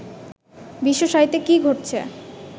বিশ্বসাহিত্যে কী ঘটছে